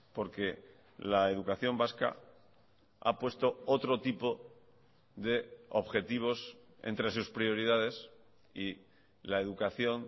porque la educación vasca ha puesto otro tipo de objetivos entre sus prioridades y la educación